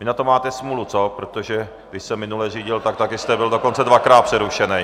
Vy na to máte smůlu, co, protože když jsem minule řídil, tak také jste byl dokonce dvakrát přerušený.